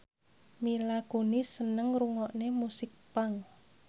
Mila Kunis seneng ngrungokne musik punk